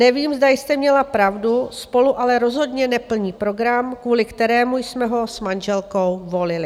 Nevím, zda jste měla pravdu, SPOLU ale rozhodně neplní program, kvůli kterému jsme ho s manželkou volili.